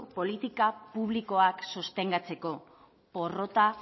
politika publikoak sostengatzeko porrota